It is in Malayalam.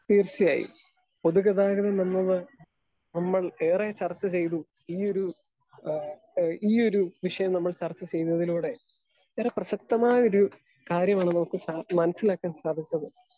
സ്പീക്കർ 2 തീർച്ചയായും പൊതുഗതാഗതം നമ്മള് നമ്മൾ ഏറെ ചർച്ച ചെയ്തു. ഈയൊരു ആ എ ഈയൊരു വിഷയം നമ്മൾ ചർച്ചചെയ്യുന്നതിലൂടെ ഏറെ പ്രസക്തമായൊരു കാര്യമാണ് നമുക്കു സൻ മൻസിലാക്കാൻ സാധിച്ചത്.